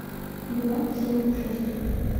два семь шесть